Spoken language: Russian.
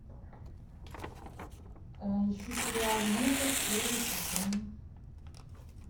ищу сериал метод первый сезон